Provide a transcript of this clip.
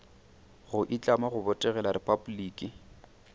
go itlama go botegela repabliki